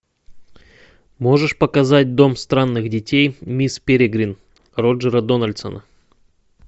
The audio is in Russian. можешь показать дом странных детей мисс перегрин роджера дональдсона